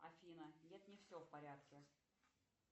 афина нет не все в порядке